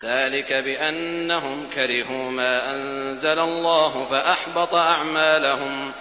ذَٰلِكَ بِأَنَّهُمْ كَرِهُوا مَا أَنزَلَ اللَّهُ فَأَحْبَطَ أَعْمَالَهُمْ